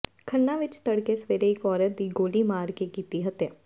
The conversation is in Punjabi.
ਖੰਨਾ ਵਿੱਚ ਤੜਕੇ ਸਵੇਰੇ ਇੱਕ ਔਰਤ ਦੀ ਗੋਲੀ ਮਾਰ ਕੇ ਕੀਤੀ ਹੱਤਿਆ